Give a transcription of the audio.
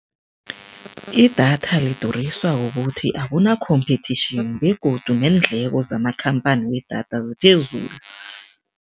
Idatha lidurisiwa kukuthi akuna-competition begodu neendleko zamakhamphani wedatha ziphezulu.